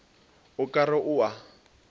o ka re o a